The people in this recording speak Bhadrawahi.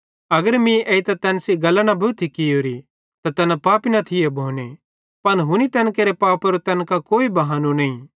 अगर मीं एइतां तैन सेइं गल्लां न भोथी कियोरी त तैना पापी न थिये भोने पन हुनी तैन केरे पापेरो तैन कां कोई बहानो नईं